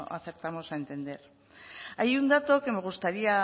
acertamos a entender hay un dato que me gustaría